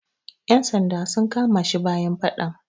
Yan sanda sun kama shi bayan faɗan.